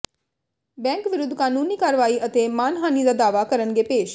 bank ਵਿਰੁੱਧ ਕਾਨੂੰਨੀ ਕਾਰਵਾਈ ਅਤੇ ਮਾਨਹਾਨੀ ਦਾ ਦਾਅਵਾ ਕਰਨਗੇ ਪੇਸ਼